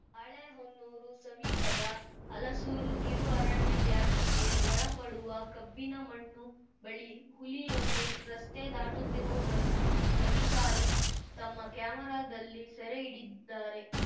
ಬಾಳೆಹೊನ್ನೂರು ಸಮೀಪದ ಹಲಸೂರು ಕಿರು ಅರಣ್ಯ ವ್ಯಾಪ್ತಿಗೆ ಒಳಪಡುವ ಕಬ್ಬಿನಮಣ್ಣು ಬಳಿ ಹುಲಿಯೊಂದು ರಸ್ತೆ ದಾಟುತ್ತಿರುವುದನ್ನು ಅಧಿಕಾರಿ ತಮ್ಮ ಕ್ಯಾಮೆರಾದಲ್ಲಿ ಸೆರೆ ಹಿಡಿದ್ದಾರೆ